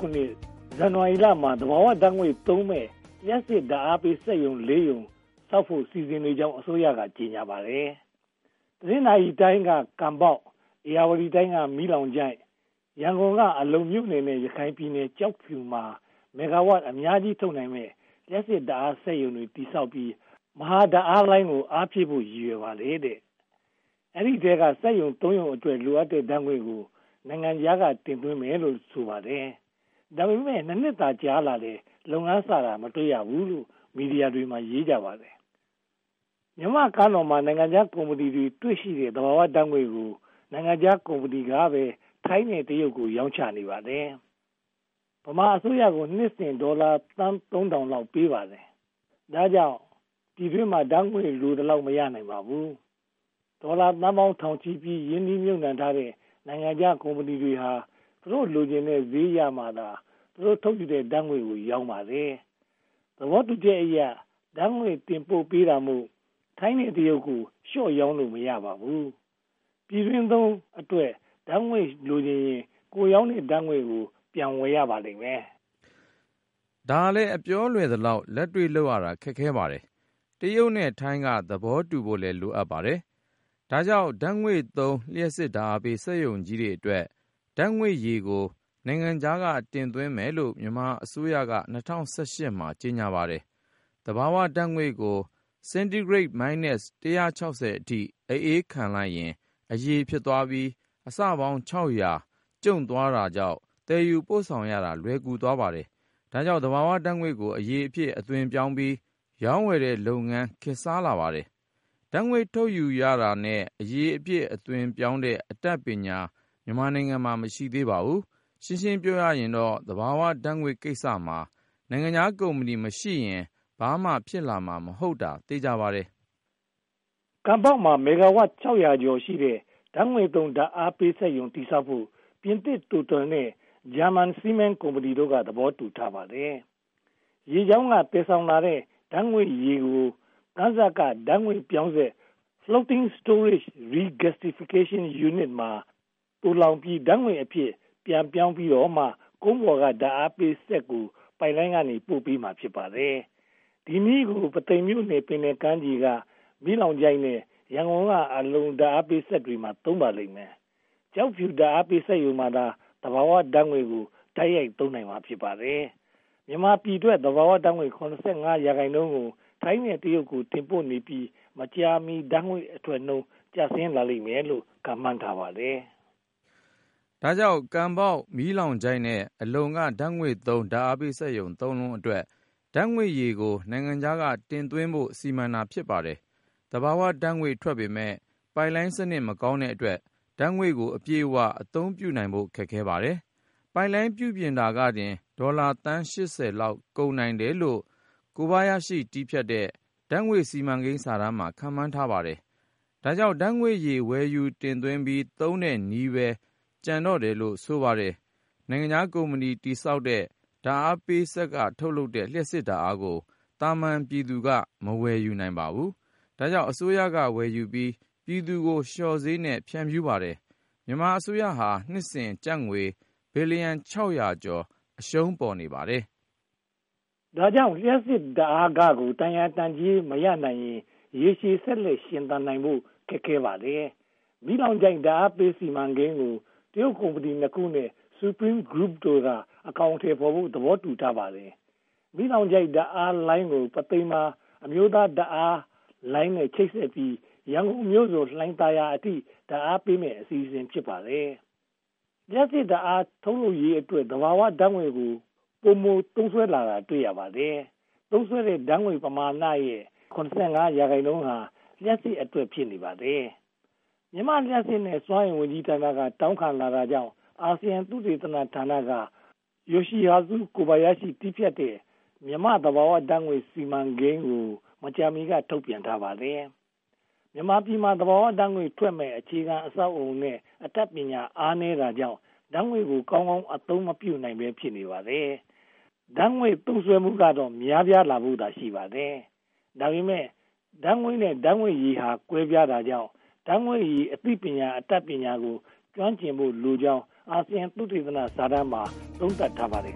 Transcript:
ခုနှစ်၊ ဇန်နဝါရီလမှာ သဘာဝဓါတ်ငွေ့သုံးမယ့် လျှပ်စစ်ဓါတ်အားပေးစက်ရုံ ရုံဆောက်ဖို့ စီစဉ်နေကြောင်း အစိုးရက ကြေညာပါတယ်။ တနင်္သာရီတိုင်းက ကံဘောက်၊ ဧရာဝတီတိုင်းက မီးလောင်ချိုင့်၊ ရန်ကုန်က အလုံမြို့နယ်နဲ့ ရခိုင်ပြည်နယ် ကျောက်ဖြူတို့မှာ မဂ္ဂါဝပ်အများကြီး ထုတ်နိုင်မယ့် လျှပ်စစ်ဓါတ်အားစက်ရုံတွေ တည်ဆောက်ပြီး မဟာဓါတ်အားလိုင်းကို အားဖြည့်ဖို့ ရည်ရွယ်ပါတယ်။ ဒီအထဲက စက်ရုံ ရုံအတွက် လိုအပ်တဲ့ဓါတ်ငွေ့ကို နိုင်ငံခြားက တင်သွင်းမယ်လို့ ဆိုပါတယ်။ ဒါပေမဲ့ နှစ်သာ ကြာလာခဲ့ပေမယ့် လုပ်ငန်းစတာတွေ မတွေ့ရဘူးလို့ မီဒီယာတွေမှာ ရေးကြပါတယ်။ မြန်မာ့ကမ်းလွန်မှာ နိုင်ငံခြားကုမ္ပဏီတွေရှိတဲ့ သဘာဝဓါတ်ငွေ့ကို နိုင်ငံခြားကုမ္ပဏီတွေက ထိုင်းနဲ့ တရုတ်ကို ရောင်းချနေပြီး ဗမာအစိုးရကို နှစ်စဉ်ဒေါ်လာသုံးထောင်လောက် ပေးပါတယ်။ ဒါကြောင့် ပြည်တွင်းမှာ ဓါတ်ငွေ့လိုသလောက် မရနိုင်ပါဘူး။ ဒေါ်လာသန်းပေါင်းထောင်ချီပြီး ရင်းနှီးမြုပ်နံှထားတဲ့ နိုင်ငံခြားကုမ္ပဏီတွေဟာ သူတို့လိုချင်တဲ့ ဈေးရမှသာ သူတို့ထုတ်ယူတဲ့ ဓါတ်ငွေ့ကို ရောင်းပါတယ်။ သဘောတူညီချက်အရ ဓါတ်ငွေ့တင်ပို့နေတာမို့ ထိုင်းနဲ့တရုတ်တို့ကို လျှော့ရောင်းလို့ မဖြစ်ပါဘူး။ ပြည်တွင်းသုံးအတွက ဓါတ်ငွေ့လိုချင်ရင် ကိုယ်ရောင်းထားတဲ့ ဓါတ်ငွေ့ကို ပြန်ဝယ်ရပါလိမ့်မယ်။ ဒါကလဲ အပြောလွယ်သလောက် လက်တွေ့လုပ်ရတာ ခက်ခဲပါတယ်။ တရုတ်နဲ့ထိုင်းက သဘောတူညီဖို့လည်း လိုအပ်ပါတယ်။ ဒါကြောင့် ဓါတ်ငွေ့သုံး လျှပ်စစ်ဓါတ်အားပေး စက်ရုံကြီးတွေအတွက် ဓါတ်ငွေ့ရည်ကို နိုင်ငံခြားက တင်သွင်းမယ်လို့ မြန်မာအစိုးရက က ကြေညာထားပါတယ်။ သဘာဝဓါတ်ငွေ့ကို Centigrate Minus 160 အထိ အအေးခံလိုက်ရင် အရည်ဖြစ်သွားပြီး အဆပေါင်း ကျုံ့သွားတာကြောင့် သယ်ယူပို့ဆောင်ရတာ လွယ်ကူသွားပါတယ်။ ဒါကြောင့် သဘာဝဓါတ်ငွေ့ကို အရည်အဖြစ် အသွင်းပြောင်းပြီး ရောင်းဝယ်တဲ့လုပ်ငန်း ခေတ်စားလာပါတယ်။ ဓါတ်ငွေ့ထုတ်ယူတာနဲ့ အရည်အဖြစ်အသွင်းပြောင်းတဲ့ အတတ်ပညာ မြန်မာမှာ မရှိသေးပါဘူး။ ရှင်းရှင်းပြောရရင်တော့ သဘာဝဓါတ်ငွေ့ကိစ္စမှာ နိုင်ငံခြားကုမ္ပဏီတွေ မရှိရင် ဘာမှဖြစ်လာမှာတော့ မဟုတ်တာ သေချာပါတယ်။ ကံဘောက်မှာ မဂ္ဂဝါပ် ကျော်ရှိတဲ့ ဓါတ်ငွေ့သုံးဓါတ်အားစက်ရုံ တည်ဆောက်ဖို့ ပြင်သစ်တိုတယ်နဲ့ ဂျာမဏီစီးမင်းကုမ္ပဏီတို့က သဘောတူထားပါတယ်။ ရေကြောင်းက သယ်ဆောင်လာတဲ့ ဓါတ်ငွေ့ရည်ကို ကမ်းစပ်က ဓါတ်ငွေ့ပြောင်းစက် FSRU (Floating Storage Regasification Unit) မှာ သိုလှောင်ပြီး ဓါတ်ငွေ့အဖြစ် ပြန်ပြောင်းပြီးတော့မှ ကုန်းပေါ်က ဓါတ်အားပေးစက်ကို ပိုက်လိုင်းနဲ့ ပို့ပေးမှာ ဖြစ်ပါတယ်။ ဒီနည်းကို ပုသိမ်မြို့နယ် ပင်လယ်ကမ်းခြေက မီးလောင်ချိုင့်နဲ့ ရန်ကုန်က အလုံဓါတ်အားပေးစက်တွေမှာလည်း သုံးပါလိမ့်မယ်။ ကျောက်ဖြူဓါတ်အားစက်ရုံမှာသာ သဘာဝဓါတ်ငွေ့ကို တိုက်ရိုက်သုံးနိုင်မှာ ဖြစ်ပါတယ်။ မြန်မာပြည်ထွက် သဘာဝဓါတ်ငွေ့ ရာခိုင်နှုန်းကို ထိုင်းနဲ့တရုတ်တို့ကို တင်ပို့နေပြီး မကြာမီဓါတ်ငွေ့အထွက်နှုန်း ကျဆင်းလာလိမ့်မယ်လို့ ခန့်မှန်းပါတယ်။ ဒါကြောင့် ကံဘောက်၊ မီးလောင်ချိုင့်နဲ့ အလုံက ဓါတ်ငွေ့သုံး ဓါတ်အားပေးစက် လုံးအတွက် ဓါတ်ငွေ့ရည်ကို နိုင်ငံခြားက တင်သွင်းဖို့ စီမံတာ ဖြစ်ပါတယ်။ သဘာဝဓါတ်ငွေ့ထွက်ပေးမယ့် ပိုက်လိုင်းစနစ် မကောင်းတဲ့အတွက် ဓါတ်ငွေ့ကို အပြည့်အဝ အသုံးပြုနိုင်ဖို့ ခက်ခဲပါတယ်။ ပိုက်လိုင်းပြုပြင်တာကတင် ဒေါ်လာသန်းပေါင်း ကုန်နိုင်တယ်လို့ ‘ကိုဘယားရှိ’ တည်ဖြတ်တဲ့ ဓါတ်ငွေ့စီမံကိန်းစာတမ်းမှာ ခန့်မှန်းထားပါတယ်။ ဒါကြောင့် ဓါတ်ငွေ့ရည် ဝယ်ယူတင်သွင်းပြီး သုံးတဲ့နည်းပဲ ကျန်တော့တယ်လို့ ဆိုပါတယ်။ နိုင်ငံခြားကုမ္ပဏီ တည်ဆောက်တဲ့ ဓါတ်အားပေးစက်ကထုတ်လုပ်တဲ့ လျှပ်စစ်ဓါတ်အားကို သာမန်ပြည်သူတွေက မဝယ်နိုင်ပါဘူး။ ဒါကြောင့် အစိုးရကဝယ်ယူပြီး ပြည်သူကို လျှော့ဈေးနဲ့ ဖြန့်ဖြူးပါတယ်။ မြန်မာအစိုးရဟာ နှစ်စဉ်ကျပ်ငွေ ဘီလီယံ ကျော် အရှုံးပေါ်နေပါတယ်။ ဒါကြောင့် လျှပ်စစ်ဓါတ်အားခကို တန်ရာတန်ကြေး မရနိုင်ရင် ရေရှည်ဆက်လက်ရှင်သန်နိုင်ဖို့ ခက်ခဲပါတယ်။ မီးလောင်ချိုင့် ဓါတ်အားပေးစီမံကိန်းကို တရုတ်ကုမ္ပဏီ ခုနဲ့ Supreme Group တို့က အကောင်အထည်ဖော်ဖို့ သဘောတူထားပါတယ်။ မီးလောင်ချိုင့် ဓါတ်အားလိုင်းကို ပုသိမ်မှာ အမျိုးသားမဟာဓါတ်အားလိုင်းနဲ့ ချိတ်ဆက်ပြီး ရန်ကုန်မြို့စွန် လှိုင်သာယာအထိ ဓါတ်အားပေးမယ့် အစီအစဉ် ဖြစ်ပါတယ်။ လျှပ်စစ်ဓါတ်အား ထုတ်လုပ်ရေးအတွက် သဘာဝဓါတ်ငွေ့ကို ပိုမိုသုံးစွဲလာတာ တွေ့ရပါတယ်။ သုံးစွဲတဲ့ ဓါတ်ငွေ့ပမာဏရဲ့ ရာခိုင်နှုန်းဟာ လျှပ်စစ်အတွက် ဖြစ်နေပါတယ်။ မြန်မာ့လျှပ်စစ်နဲ့ စွမ်းအင်ဝန်ကြီးဌာနက တောင်းခံလာတာကြောင့် အာဆီယံသုတေသနဌာနက ‘ယိုရှိဟာဇု ကိုဘယားရှိ’ တည်ဖြတ်တဲ့ မြန်မာ့သဘာဝဓါတ်ငွေ့စီမံကိန်း Natural Gas Master Plan ကို မကြာမီက ထုတ်ပြန်ထားပါတယ်။ မြန်မာပြည်မှာ သဘာဝဓါတ်ငွေ့ ထွက်ပေးမယ့် အခြေခံအဆောက်အအုံနဲ့ အတတ်ပညာမှာ အားနည်းတာကြောင့် ဓါတ်ငွေ့ကို ကောင်းကောင်းအသုံးမပြုနိုင်ဘဲ ဖြစ်နေပါတယ်။ ဓါတ်ငွေ့သုံးစွဲမှုကတော့ များပြားလာဖို့သာ ရှိပါတယ်။ ဒါပေမဲ့ ဓါတ်ငွေ့နဲ့ ဓါတ်ငွေ့ရည်ဟာ ကွဲပြားတာကြောင့် ဓါတ်ငွေ့ရည် အသိပညာနဲ့ အတတ်ပညာတို့ကို ကျွမ်းကျင်ဖို့လိုကြောင်း အာဆီယံသုတေသနစာတမ်းမှာ သုံးသပ်ထားပါတယ်